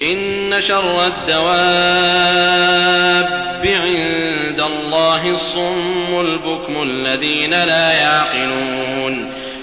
۞ إِنَّ شَرَّ الدَّوَابِّ عِندَ اللَّهِ الصُّمُّ الْبُكْمُ الَّذِينَ لَا يَعْقِلُونَ